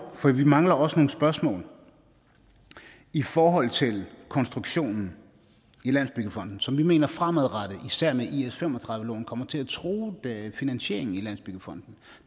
for vi mangler også nogle spørgsmål i forhold til konstruktionen i landsbyggefonden som vi mener fremadrettet især med is35 lån kommer til at true finansieringen i landsbyggefonden